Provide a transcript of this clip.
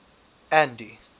andy